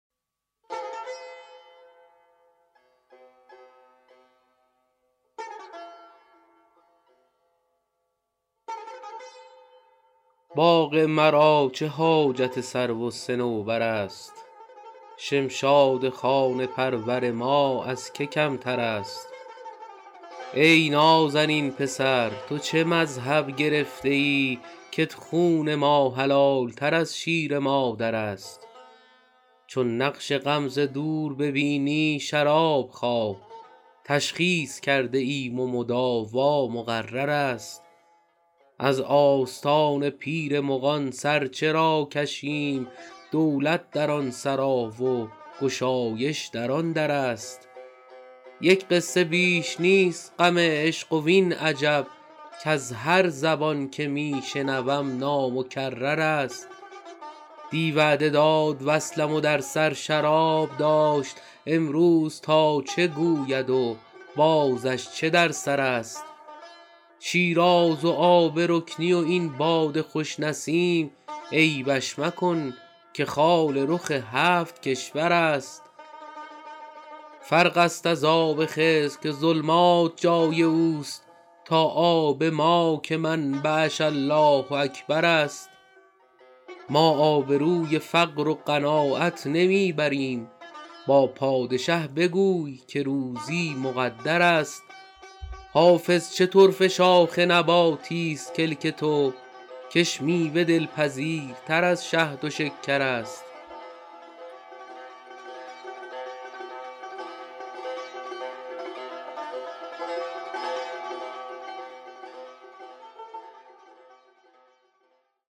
باغ مرا چه حاجت سرو و صنوبر است شمشاد خانه پرور ما از که کمتر است ای نازنین پسر تو چه مذهب گرفته ای کت خون ما حلال تر از شیر مادر است چون نقش غم ز دور ببینی شراب خواه تشخیص کرده ایم و مداوا مقرر است از آستان پیر مغان سر چرا کشیم دولت در آن سرا و گشایش در آن در است یک قصه بیش نیست غم عشق وین عجب کز هر زبان که می شنوم نامکرر است دی وعده داد وصلم و در سر شراب داشت امروز تا چه گوید و بازش چه در سر است شیراز و آب رکنی و این باد خوش نسیم عیبش مکن که خال رخ هفت کشور است فرق است از آب خضر که ظلمات جای او است تا آب ما که منبعش الله اکبر است ما آبروی فقر و قناعت نمی بریم با پادشه بگوی که روزی مقدر است حافظ چه طرفه شاخ نباتیست کلک تو کش میوه دلپذیرتر از شهد و شکر است